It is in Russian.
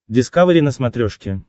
дискавери на смотрешке